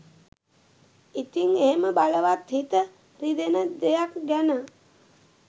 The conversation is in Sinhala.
ඉතිං එහෙම බලවත් හිත රිදෙන දෙයක් ගැන